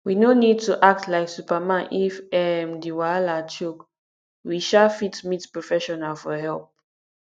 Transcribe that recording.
we no need to act like superman if um di wahala choke we um fit meet professional for help